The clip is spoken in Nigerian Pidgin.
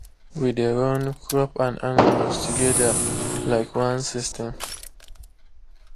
we dey run crop and animal together like one system.